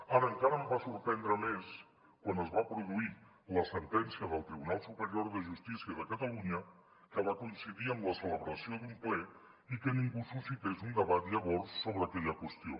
ara encara em va sorprendre més quan es va produir la sentència del tribunal superior de justícia de catalunya que va coincidir amb la celebració d’un ple i que ningú suscités un debat llavors sobre aquella qüestió